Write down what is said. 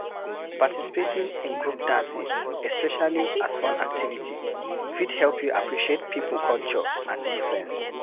Participating in group dancing especially as fun activity fit help you appreciate pipo culture and difference